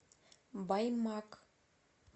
баймак